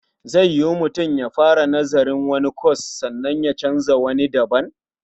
Zai yiwu mutum ya fara nazarin wani kwas sannan ya canza zuwa wani daban?